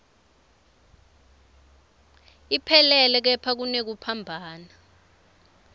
iphelele kepha kunekuphambana